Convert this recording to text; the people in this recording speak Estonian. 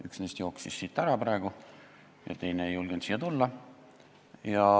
Üks neist jooksis siit praegu ära ja teine ei julgenud siia tulla.